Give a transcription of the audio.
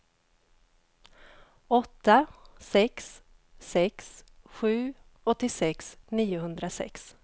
åtta sex sex sju åttiosex niohundrasex